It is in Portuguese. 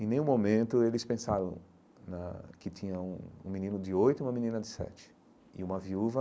Em nenhum momento eles pensaram na que tinha um um menino de oito e uma menina de sete, e uma viúva.